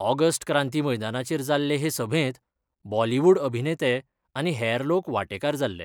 August Kranti मैदानाचेर जाल्ले हे सभेत बॉलीवुड अभिनेते आनी हेर लोक वाटेकार जाल्ले.